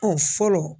Ɔ fɔlɔ